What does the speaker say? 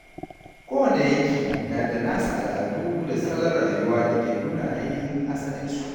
Kowane yanki na da nasa al’adu da salon rayuwa da ke nuna ainihin asalinsu.